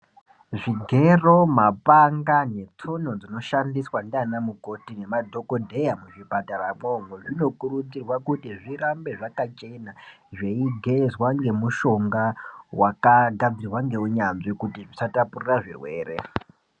Zvigero mapanga netsono zvinoshandiswa ndiana mukoti nemadhokodheya muzvipataramwo umwo zvinokuridzirwa kuti zvirambe zvakachena zveigezwa ngemushonga wakagadzirwa ngeunyanzvi kuti zvisatapurira zvirwere.